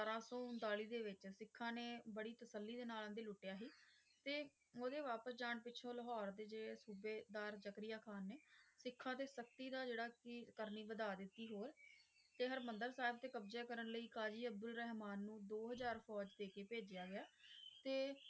ਤੇ ਉਹਦੇ ਵਾਪਸ ਜਾਣ ਪਿੱਛੋਂ ਲਾਹੌਰ ਦੇ ਜੇ ਸੂਬੇਦਾਰ ਜ਼ਕਰੀਆ ਖ਼ਾਨ ਨੇ ਸਿੱਖਾਂ ਤੇ ਸਖਤੀ ਨਾਲ ਜਿਹੜਾ ਕਿ ਕਰਨੀ ਵਧਾ ਦਿੱਤੀ ਹੋਰ ਤੇ ਹਰਿਮੰਦਰ ਸਾਹਿਬ ਤੇ ਕਬਜ਼ਾ ਕਰਨ ਲਈ ਕਾਜ਼ੀ ਅਬਦੁਲ ਰਹਿਮਾਨ ਨੂੰ ਦੋ ਹਾਜ਼ਰ ਫੌਜ ਦੇ ਕੇ ਭੇਜਿਆ ਗਿਆ ਤੇ,